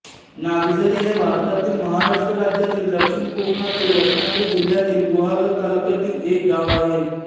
नागझरी हे भारतातील महाराष्ट्र राज्यातील दक्षिण कोकणातील रत्नागिरी जिल्ह्यातील गुहागर तालुक्यातील एक गाव आहे